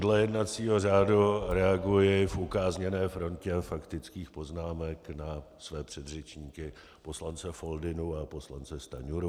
Dle jednacího řádu reaguji v ukázněné frontě faktických poznámek na své předřečníky - poslance Foldynu a poslance Stanjuru.